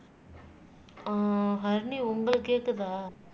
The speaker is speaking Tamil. ஆஹ் ஹரிணி உங்களுக்கு கேக்குதா